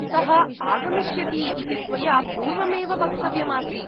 सः आगमिष्यति इति त्वया पूर्वमेव वक्तव्यम् आसीत्